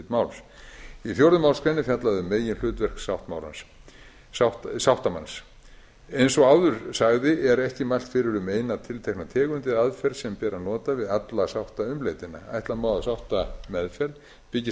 máls í fjórðu málsgrein er fjallað um meginhlutverk sáttamanns eins og áður sagði er ekki mælt fyrir um eina tiltekna tegund eða aðferð sem ber að nota við alla sáttaumleitan ætla má að sáttameðferð byggist